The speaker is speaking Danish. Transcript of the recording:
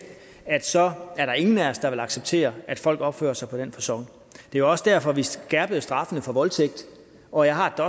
så er der ingen af os der vil acceptere at folk opfører sig på den facon det er også derfor vi skærpede straffene for voldtægt og jeg har det